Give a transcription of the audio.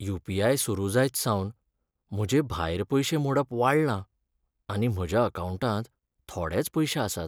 You. P. I. सुरू जायतसावन म्हजें भायर पयशे मोडप वाडलां आनी म्हज्या अकावंटांत थोडेच पयशे आसात.